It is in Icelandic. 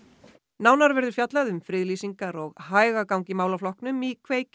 nánar verður fjallað um friðlýsingar og hægagang í málaflokknum í